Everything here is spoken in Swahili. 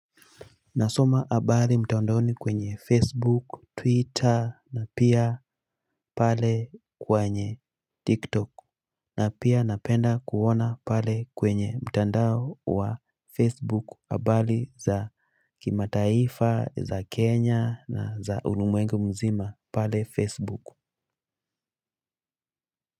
Nasoma habari mtandaoni kwenye Facebook, Twitter na pia pale kwenye TikTok. Na pia napenda kuona pale kwenye mtandao wa Facebook habari za kimataifa, za Kenya na za ulimwengu mzima pale Facebook.